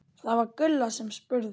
Það var Gulla sem spurði.